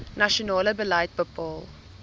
nasionale beleid bepaal